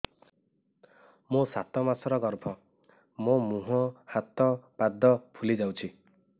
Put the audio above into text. ମୋ ସାତ ମାସର ଗର୍ଭ ମୋ ମୁହଁ ହାତ ପାଦ ଫୁଲି ଯାଉଛି